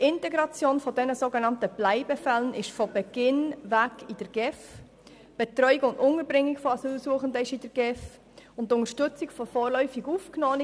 Die Integration der sogenannten Bleibefälle wird von Beginn weg in der GEF geregelt, ebenso deren Betreuung und Unterbringung wie auch die Unterstützung der vorläufig Aufgenommenen.